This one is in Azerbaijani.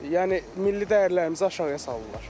Yəni milli dəyərlərimizi aşağıya salırlar.